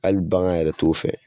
Hali bangan yɛrɛ t'o fɛ